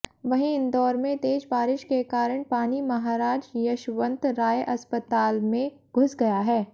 वहीं इंदौर में तेज बारिश के कारण पानी महाराज यशवंतराव अस्पताल में घुस गया है